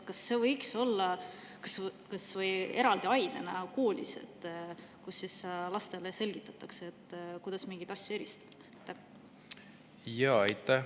Kas see võiks olla kas või eraldi ainena koolis, kus lastele selgitatakse, kuidas mingeid asju eristada?